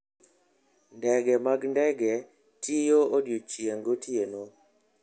Ndege mag ndege tiyo odiechieng' gotieno.